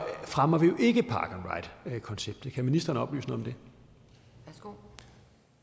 fremmer vi jo ikke park and ride konceptet kan ministeren oplyse noget om